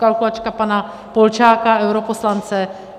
Kalkulačka pana Polčáka, europoslance.